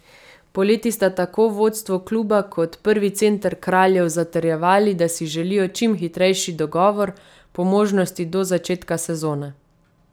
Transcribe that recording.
Poleti sta tako vodstvo kluba kot prvi center Kraljev zatrjevali, da si želijo čim hitrejši dogovor, po možnosti do začetka sezone.